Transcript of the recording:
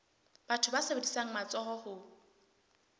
batho ba sebedisang matsoho ho